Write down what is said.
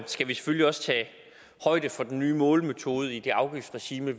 skal vi selvfølgelig også tage højde for den nye målemetode i det afgiftsregime